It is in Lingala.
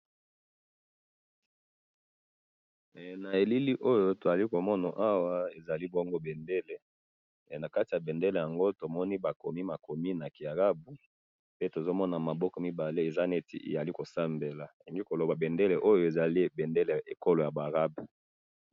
he na elili oyo tozali komoma awa tozali komona ezali bendele nakati ya bendele yango tomona ba komi makomi na ki arabe pe tozomona maboko mibaleeza neti kosambela elingi koloba que ezali bendele ya ba arabe